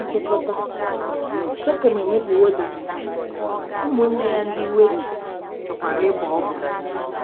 Nchịkọta: Shekem emebiwo Daịna, ụmụnne ya ndị iwe ji chọkwara ịbọ ọbọ